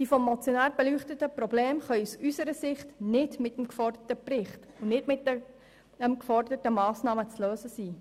Die vom Motionär beleuchteten Probleme können aus unserer Sicht nicht mit dem geforderten Bericht, nicht mit den geforderten Massnahmen gelöst werden.